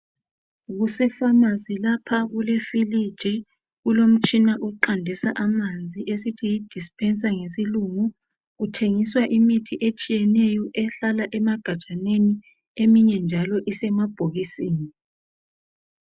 Kusefamasi lapha kulefiliji kulomutshina oqandisa amanzi esithi yi dispenser " ngesilungu kuthengiswa imithi etshiyeneyo ehlala emagajaneni eminye njalo isemabhokisini.